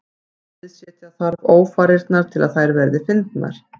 Sviðsetja þarf ófarirnar til að þær verði fyndnar.